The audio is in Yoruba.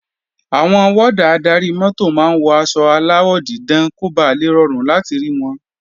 Àwọn wọ́dà adarí-mọ́tò máa ń wọ aṣọ aláwọ̀ dídán kó ba lè rọrùn láti rí wọn